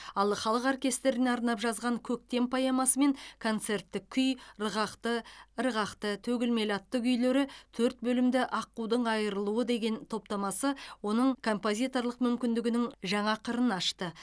ал халық оркестріне арнап жазған көктем поэмасы мен концерттік күй ырғақты ырғақты төгілмелі атты күйлері төрт бөлімді аққудың айрылуы деген топтамасы оның композиторлық мүмкіндігінің жаңа қырын ашты